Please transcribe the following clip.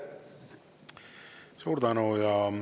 Suur tänu!